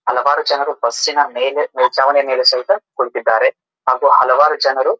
ಹಲವಾರು ಜನರು ಬಸ್ಸಿನ ಮೇಲೆ ಮೇಲ್ಚಾವಣಿ ಯ ಮೇಲೆ ಸಹಿತ ಕುಳಿತ್ತಿದ್ದಾರೆ ಹಾಗು ಹಲವಾರು ಜನರು --